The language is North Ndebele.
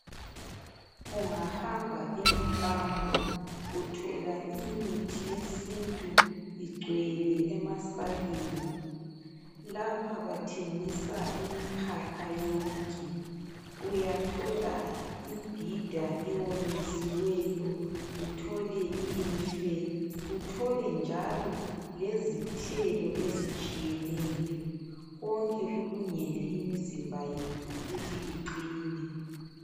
Ungahamba emkambo, uthola imithi yesintu igcwele emasakeni. Lapha bathengisa imikhakha yonke. Uyathola imbhida ewonyisiweyo, uthole imfe uthole njalo lezithelo ezitshiyeneyo. Konke kulungele imizimba yethu ukuthi iqine.